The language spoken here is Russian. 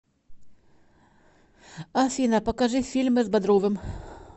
афина покажи фильмы с бодровым